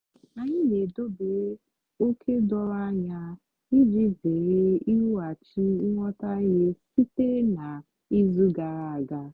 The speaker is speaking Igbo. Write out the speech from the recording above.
anyị na-edobere ókè doro anya iji zere ikwughachi nghọtahie sitere na izu gara aga.